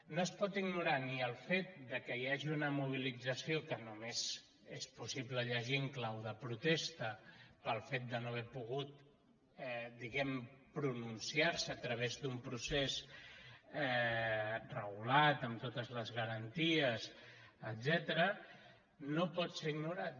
no es pot igno·rar ni el fet que hi hagi una mobilització que només és possible llegir en clau de protesta pel fet de no haver pogut diguem·ne pronunciar·se a través d’un procés regulat amb totes les garanties etcètera no pot ser ignorat